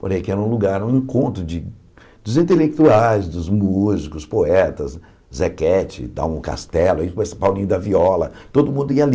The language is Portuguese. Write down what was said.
Porém, aqui era um lugar, um encontro de dos intelectuais, dos músicos, poetas, Zequete, dá um castelo, aí com esse Paulinho da Viola, todo mundo ia ali.